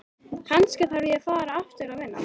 Kannski þarf ég að fara aftur að vinna.